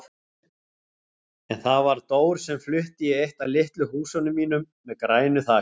En það var Dór sem flutti í eitt af litlu húsunum mínum með grænu þaki.